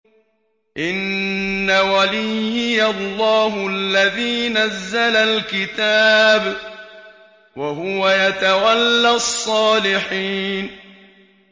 إِنَّ وَلِيِّيَ اللَّهُ الَّذِي نَزَّلَ الْكِتَابَ ۖ وَهُوَ يَتَوَلَّى الصَّالِحِينَ